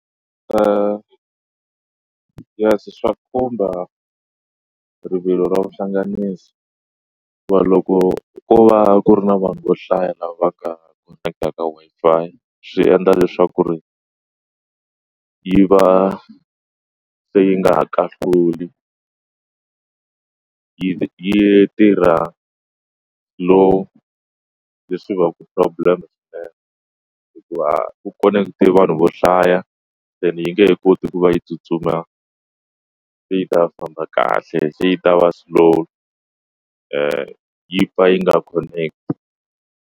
yes, swa khumba rivilo ra vuhlanganisi wa loko ko va ku ri na vanhu vo hlaya lava ka koneketa Wi-Fi swi endla leswaku ri yi va se yi nga ha kahluli yi yi tirha lowu leswi va ku problem hikuva ku connect-i vanhu vo hlaya ene yi nge he koti ku va yi tsutsuma se yi ta famba kahle se yi ta va slow yi pfa yi nga connect-i.